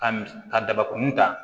Ka mis ka dabakuni ta